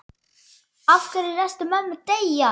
Af hverju léstu mömmu deyja?